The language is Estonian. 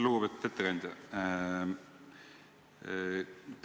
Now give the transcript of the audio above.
Lugupeetud ettekandja!